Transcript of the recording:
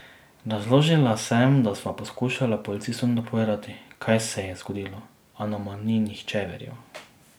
Razložila sem, da sva poskušala policistom dopovedati, kaj se je zgodilo, a nama ni nihče verjel.